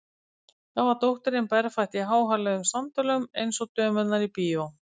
Þá var dóttirin berfætt í háhæluðum sandölum, eins og dömurnar í bíó.